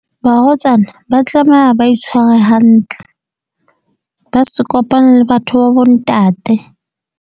Barwetsana, ba tlameha ba itshware hantle. Ba se kopane le batho ba bo ntate.